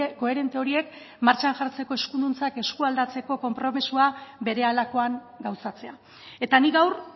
koherente horiek martxan jartzeko eskuduntzak eskualdatzeko konpromisoa berehalakoan gauzatzea eta nik gaur